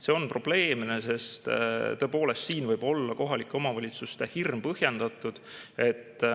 See on probleemne, sest tõepoolest siin võib olla kohalike omavalitsuste hirm põhjendatud.